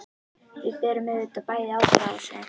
Við berum auðvitað bæði ábyrgð á þessu.